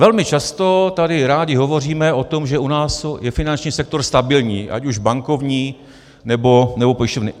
Velmi často tady rádi hovoříme o tom, že u nás je finanční sektor stabilní, ať už bankovní, nebo pojišťovny.